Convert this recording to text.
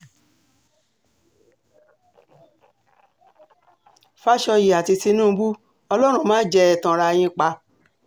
fàsọyé àti tinúbù ọlọ́run mà jẹ ẹ́ tanra yín pa